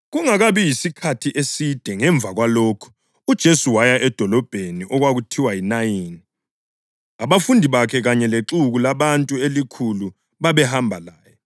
Kungakabi yisikhathi eside ngemva kwalokhu, uJesu waya edolobheni okwakuthiwa yiNayini, abafundi bakhe kanye lexuku labantu elikhulu babehamba laye.